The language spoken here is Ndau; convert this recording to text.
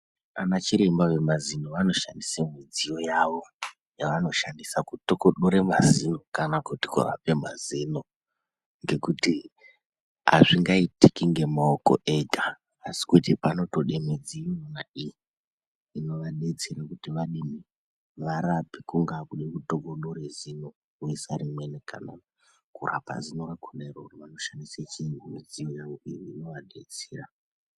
Ana chiremba vemazino vanoshandise midziyo yavo yavanoshandise kutokodora mazino kana kuti kurape mazino ngekuti hazvingaitike ngemaoko ega asi kuti panotode midziyona iyi inovadetsere kuti varape. Kungava kutokodore zino voisa rimweni kana kurapa zino rakona iroro vanoshandisa midziyo inovadetsera.